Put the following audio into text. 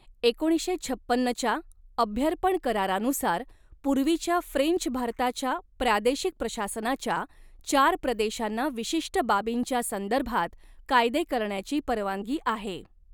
एकोणीसशे छपन्नच्या अभ्यर्पण करारानुसार, पूर्वीच्या फ्रेंच भारताच्या प्रादेशिक प्रशासनाच्या चार प्रदेशांना विशिष्ट बाबींच्या संदर्भात कायदे करण्याची परवानगी आहे.